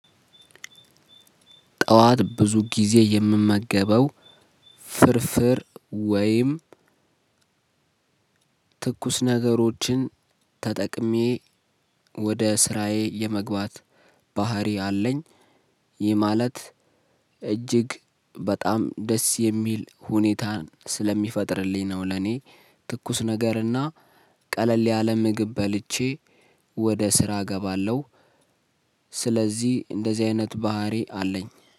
ጠዋት ብዙ ጊዜ የምመገበው ፍርፍር ወይም ትኩስ ነገሮችን ተጠቅሜ ወደ ስራዬ የመግባት ባህሪ አለኝ። ይህ ማለት እጅግ በጣም ደስ የሚል ሁኔታን ስለሚፈጥርልኝ ነው ለኔ ትኩስ ነገርና ቀለል ያለ ምግብ በልቼ ወደ ስራ እገባለሁ። ስለዚህ እንደዚህ አይነት ባህሪ አለኝ።